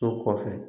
O kɔfɛ